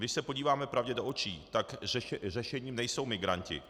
Když se podíváme pravdě do očí, tak řešením nejsou migranti.